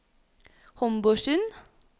Homborsund